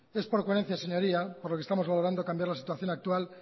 es por coherencia señoría por lo que estamos valorando cambiar la situación actual